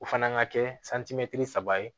O fana ka kɛ saba ye